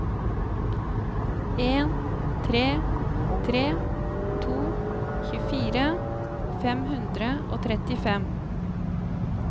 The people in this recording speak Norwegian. en tre tre to tjuefire fem hundre og trettifem